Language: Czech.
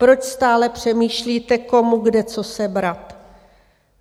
Proč stále přemýšlíte, komu kde co sebrat?